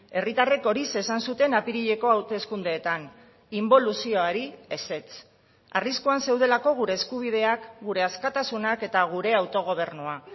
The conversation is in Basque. herritarrek horixe esan zuten apirileko hauteskundeetan inboluzioari ezetz arriskuan zeudelako gure eskubideak gure askatasunak eta gure autogobernua